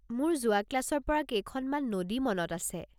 মোৰ যোৱা ক্লাছৰ পৰা কেইখনমান নদী মনত আছে।